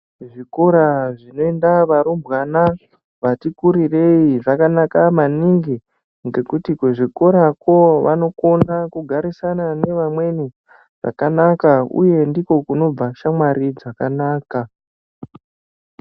Zvikora zvinoenda varumbwana vati kurirei zvakanaka maningi ngokuti kuzvikorakwo vanokona kugarisana nevamweni zvakanaka uye ndiko kunobva shamwari dzakanaka.